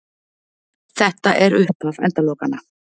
Þetta er upphaf endalokanna